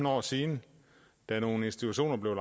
år siden da nogle institutioner